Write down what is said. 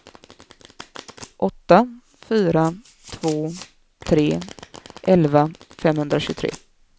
åtta fyra två tre elva femhundratjugotre